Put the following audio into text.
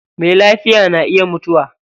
Mai lafiya na iya mutuwa.